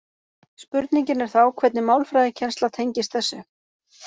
Spurningin er þá hvernig málfræðikennsla tengist þessu.